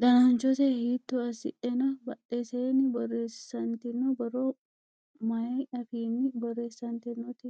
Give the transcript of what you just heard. dananchose hiitto assidhe no? Badheseenni borreessantino borro maay afiinni borreessantinote?